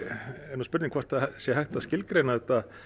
er nú spurning hvort að það sé hægt að skilgreina þetta